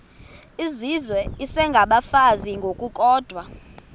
izizwe isengabafazi ngokukodwa